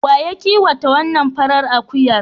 Wa ya kiwata wannan farar akuyar?